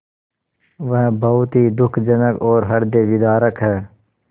वह बहुत ही दुःखजनक और हृदयविदारक है